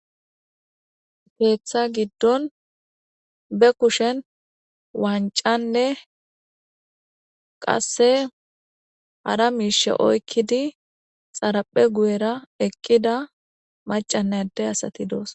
Keththa giddon be kushshen wanc'anne qase hara mishsha oyiked xareppe guyera eqida mac'anne ade aste de'osona.